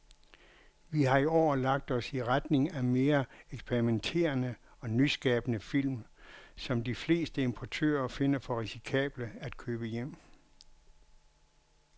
Vi har i år lagt os i retning af mere eksperimenterede og nyskabende film, som de fleste importører finder for risikable at købe hjem.